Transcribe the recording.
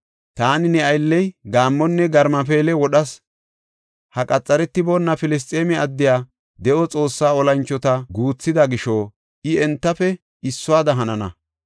Taani ne aylley gaammonne garmafeele wodhas; ha qaxaretiboona Filisxeeme addey de7o Xoossaa olanchota guuthida gisho I entafe issuwada hanana.